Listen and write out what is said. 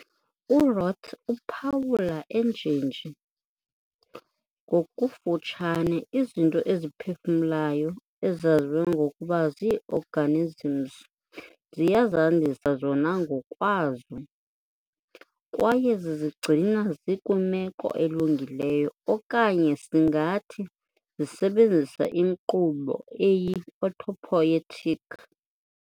URoth uphawula enjenje, "Ngokufutshane, izinto eziphefumlayo ezaziwa ngokuba zii-organisms ziyazandisa zona ngokwazo, kwaye zizigcina zikwimeko elungileyo, okanye singathi zisebenzisa inkqubo eyi- 'autopoietic'".